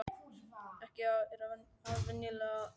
Ekki var afi venjulegur, hugsaði hún.